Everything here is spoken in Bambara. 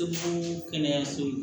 kɛnɛyaso